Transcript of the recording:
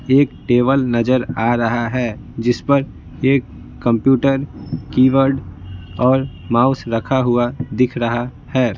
एक टेबल नजर आ रहा है जिस पर एक कंप्यूटर कीबोर्ड और माउस रखा हुआ दिख रहा है।